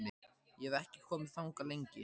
Ég hef ekki komið þangað lengi.